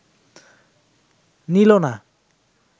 নিল না